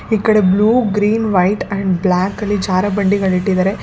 ಈ ಕಡೆ blue green white and black ಜಾರಬಂಡಿ ಇಟ್ಟಿದ್ದಾರೆ.